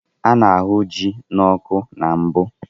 A na-ahu ji n'ọkụ na mbụ.